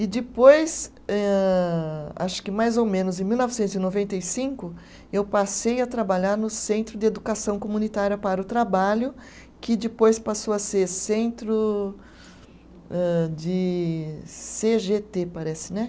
E depois, âh acho que mais ou menos em mil novecentos e noventa e cinco, eu passei a trabalhar no Centro de Educação Comunitária para o Trabalho, que depois passou a ser Centro âh, de cê gê tê, parece, né?